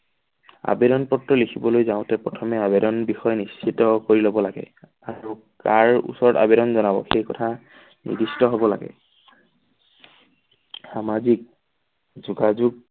আবেদন পত্ৰ লিখিবলৈ যাওঁতে প্ৰথমে আবেদন বিষয়ে নিশ্চিত কৰি লব লাগে আৰু কাৰ ওচৰত আবেদন জনাব সেই কথা নিৰ্দিষ্ট হব লাগে। সামাজিক যোগাযোগ